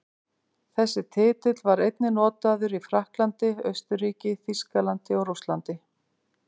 Þessi titill var einnig notaður í Frakklandi, Austurríki, Þýskalandi og Rússlandi.